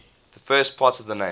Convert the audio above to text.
the first part of the name